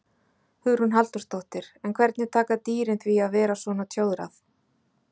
Hugrún Halldórsdóttir: En hvernig taka dýrin því að vera svona tjóðrað?